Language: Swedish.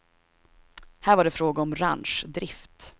Här var det fråga om ranchdrift.